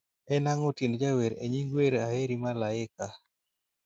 en ang'o tiend jawer e nying wer aheri malaika